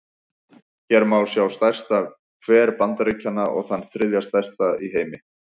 Hér má sjá stærsta hver Bandaríkjanna, og þann þriðja stærsta í heimi.